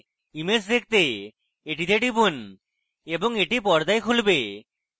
image দেখতে এটিতে টিপুন এবং এটি পর্দায় খুলবে